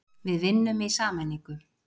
Við vinnum í sameiningu.